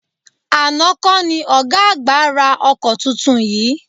Àná kọ́ ni ọ̀gá àgbà ra ọkọ tuntun yìí?